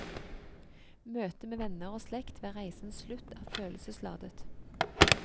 Møtet med venner og slekt ved reisens slutt er følelsesladet.